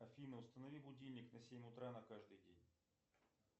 афина установи будильник на семь утра на каждый день